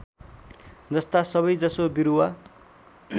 जस्ता सबैजसो बिरुवा